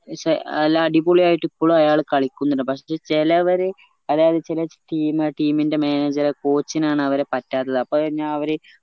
നല്ല അടിപൊളിയായിട്ട് ഇപ്പളും അയാള് കളിക്കുന്നുണ്ട് പക്ഷെ ചെലവര്അതായത് ചെല team team ന്റെ manager coach നാണു അവരെ പറ്റാത്തത് അപ്പൊ പിന്നാ അവര്